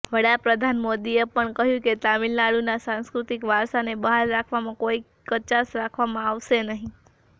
વડાપ્રધાનમોદીએ પણ કહ્યું કે તામિલનાડુના સાંસ્કૃતિક વારસાને બહાલ રાખવામાં કોઈ કચાશ રાખવામાં આવશે નહિં